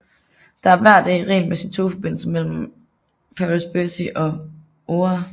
Der er hver dag regelmæssig togforbindelse mellem Paris Bercy og Auxerre